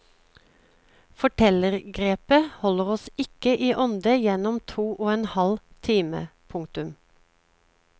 Fortellergrepet holder oss ikke i ånde gjennom to og en halv time. punktum